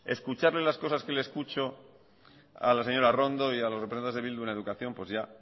escucharle las cosas que le escucho a la señora arrondo y a los representantes de bildu en educación pues ya